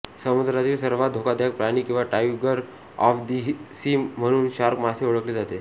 समुद्रातील सर्वांत धोकादायक प्राणी किंवा टायगर ऑफ दी सी म्हणून शार्क मासे ओळखले जातात